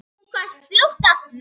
Hún komst fljótt að því.